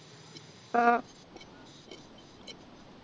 ആഹ്